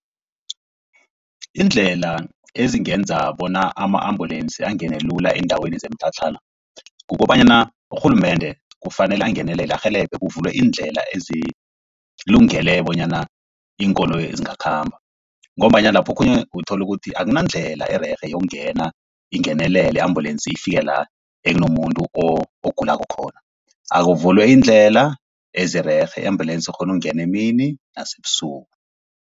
Iindlela ezingenza bona ama-ambulance angene lula eendaweni zemitlhatlhana, kukobanyana urhulumende kufanele angenelele arhelebhe kuvulwe iindlela ezilungele bonyana iinkoloyi zingakhamba, ngombanyana lapho okhunye uthola ukuthi akunandlela ererhe yokungena ingenelele ambulensi ifike la ekunomuntu ogulako khona. Akuvulwe iindlela ezirerhe i-ambulence ikghone ukungena emini nasebusuku.